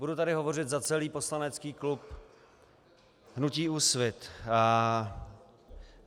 Budu tady hovořit za celý poslanecký klub hnutí Úsvit.